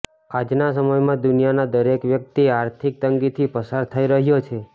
આજના સમયમાં દુનિયાનો દરેક વ્યક્તિ આર્થિક તંગીથી પસાર થઇ રહ્યો છે